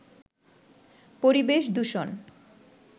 পরিবেশ দূষণ